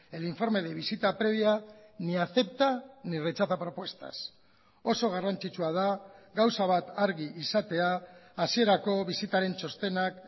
el informe de visita previa ni acepta ni rechaza propuestas oso garrantzitsua da gauza bat argi izatea hasierako bisitaren txostenak